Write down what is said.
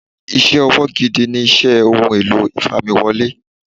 Iṣẹ́ ọwọ́ gidi ni iṣẹ́ Ohun èlò ìfamiwọlé.